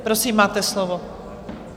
Prosím, máte slovo.